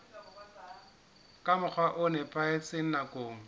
ka mokgwa o nepahetseng nakong